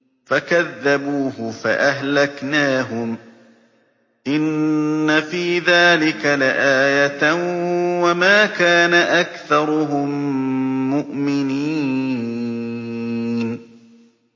فَكَذَّبُوهُ فَأَهْلَكْنَاهُمْ ۗ إِنَّ فِي ذَٰلِكَ لَآيَةً ۖ وَمَا كَانَ أَكْثَرُهُم مُّؤْمِنِينَ